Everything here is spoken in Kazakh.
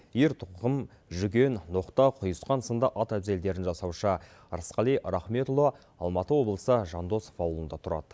ер тоқым жүген ноқта құйысқан сынды ат әбзелдерін жасаушы ырысқали рахметұлы алматы облысы жандосов ауылында тұрады